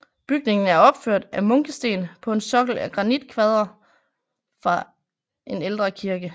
Bygningen er opført af munkesten på en sokkel af granitkvadre fra en ældre kirke